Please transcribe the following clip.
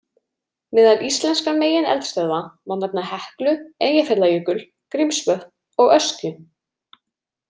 Meðal íslenskra megineldstöðva má nefna Heklu, Eyjafjallajökul, Grímsvötn og Öskju.